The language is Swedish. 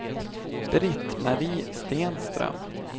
Britt-Marie Stenström